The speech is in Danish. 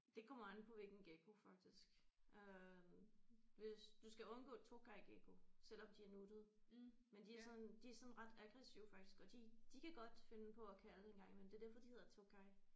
Det kommer an på hvilken gekko faktisk øh hvis du skal undgå tokaygekko selvom de er nuttede men de er sådan de er sådan ret aggressive faktisk og de kan de kan godt finde på at kalde en gang imellem det er derfor de hedder tokay